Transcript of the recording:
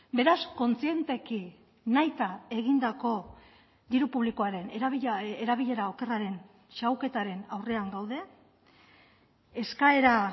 beraz kontzienteki nahita egindako diru publikoaren erabilera okerraren xahuketaren aurrean gaude eskaera